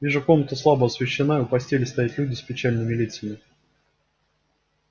вижу комната слабо освещена у постели стоят люди с печальными лицами